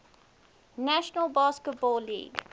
national basketball league